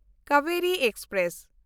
Kaveri express